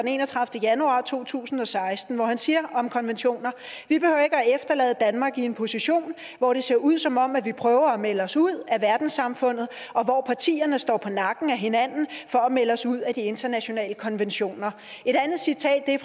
den enogtredivete januar to tusind og seksten hvor han siger om konventioner vi behøver ikke at efterlade danmark i en position hvor det ser ud som om vi prøver at melde os ud af verdenssamfundet og står på nakken af hinanden for at melde os ud af de internationale konventioner et andet citat er